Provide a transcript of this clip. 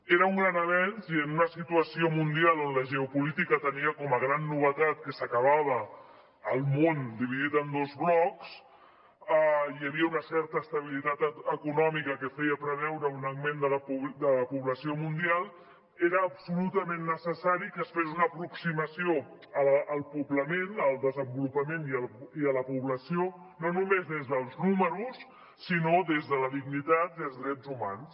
era un gran avenç i en una situació mundial on la geopolítica tenia com a gran novetat que s’acabava el món dividit en dos blocs i hi havia una certa estabilitat econòmica que feia preveure un augment de la població mundial era absolutament necessari que es fes una aproximació al poblament al desenvolupament i a la població no només des dels números sinó des de la dignitat i els drets humans